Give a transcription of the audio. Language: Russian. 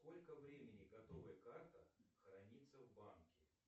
сколько времени готовая карта хранится в банке